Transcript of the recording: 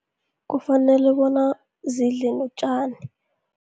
Kufanele bona zidle notjani.